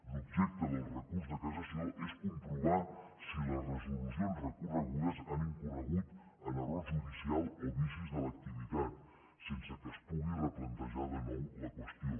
l’objecte del recurs de cassació és comprovar si les resolucions re corregudes han incorregut en error judicial o vicis de l’activitat sense que es pugui replantejar de nou la qüestió